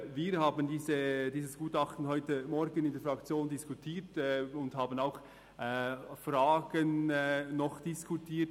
Wir haben dieses Gutachten heute Morgen in der Fraktion diskutiert und auch über Fragen diskutiert.